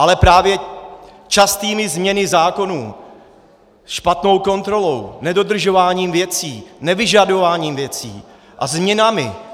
Ale právě častými změnami zákonů, špatnou kontrolou, nedodržováním věcí, nevyžadováním věcí a změnami...